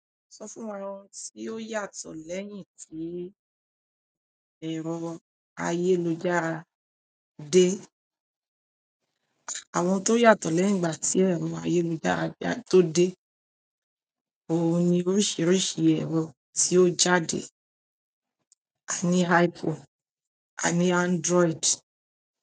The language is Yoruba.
Sọ fún wa ohun tí ó yàtọ̀ lẹ́yìn tí ẹ̀rọ ayélujára dé. Àwọn tó yàtọ̀ lẹ́yìn ìgbà tí ẹ̀rọ ayélujára tó dé, òun ni oríṣiríṣi ẹ̀rọ tí ó jáde, àní iPhone, àní Android.